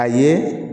A ye